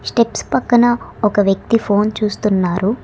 Steps పక్కన ఒక వ్యక్తి ఫోన్ చూస్తున్నారు.